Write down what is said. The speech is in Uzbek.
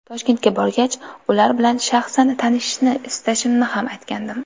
Toshkentga borgach, ular bilan shaxsan tanishishni istashimni ham aytgandim.